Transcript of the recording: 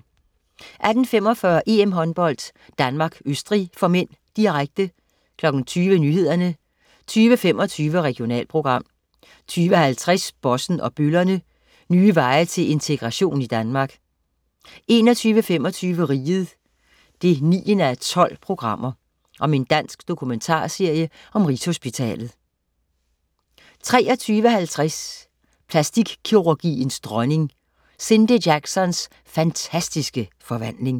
18.45 EM-Håndbold: Danmark-Østrig (m), direkte 20.00 Nyhederne 20.25 Regionalprogram 20.50 Bossen og bøllerne. Nye veje til integration i Danmark 21.25 Riget 9:12. Dansk dokumentarserie om Rigshospitalet 23.20 Plastikkirurgiens dronning. Cindy Jacksons fantastiske forvandling